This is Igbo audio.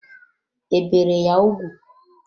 E bere ya ugwu?